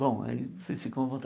Bom, aí vocês ficam à